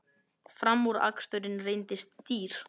Framúraksturinn reyndist dýr